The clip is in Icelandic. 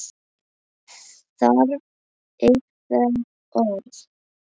Þarf einhver orð?